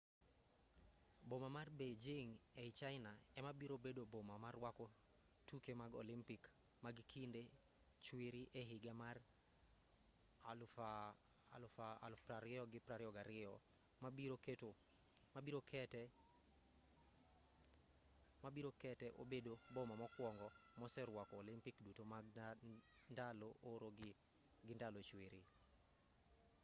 boma mar beijing ei china ema biro bedo boma ma rwako tuke mag olympic mag kinde chwiri e higa mar 2022 ma biro kete obedo boma mokwongo moserwako olympic duto mag ndalo oro gi ndalo chwiri